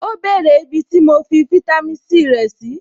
Ó bèrè ibi tí mo fi fitami C rẹ̀ sí.